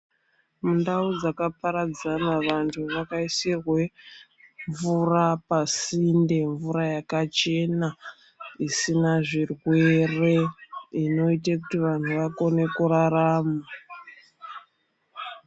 Mundau dzakaparadzana vantu vakaisirwe mvura pasinde, mvura yakachena isina zvirwere inoite kuti vanhu vakone kurarama.